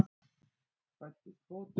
Fæddist fótur.